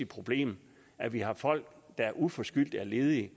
problem at vi har folk der uforskyldt er ledige